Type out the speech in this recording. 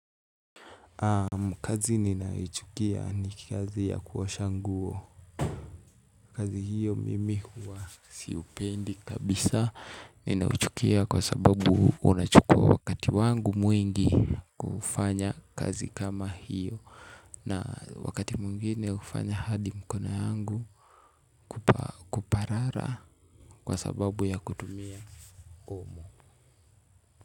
Kazi ninayoichukia ni kazi ya kuosha nguo. Kazi hiyo mimi huwa sipendi kabisa. Ninaichukia kwa sababu unachukua wakati wangu mwingi kufanya kazi kama hiyo. Na wakati mwngine hufanya hadi mkono yangu parara kwa sababu ya kutumia omo.